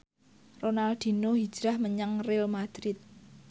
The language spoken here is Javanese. Ronaldinho hijrah menyang Real madrid